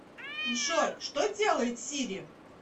джой что делает сири